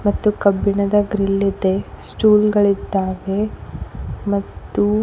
ಮತ್ತು ಕಬ್ಬಿಣದ ಗ್ರಿಲ್ ಇದೆ ಮತ್ತು ಸ್ಟೂಲ್ ಗಳಿದ್ದಾವೆ ಮತ್ತು.